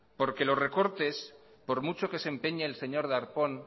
los recortes por mucho que se empeñe el señor darpón